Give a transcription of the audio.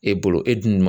E bolo e dun man